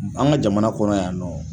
An ka jamana kɔnɔ yan nɔ